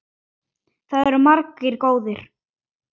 Það eru margir góðir.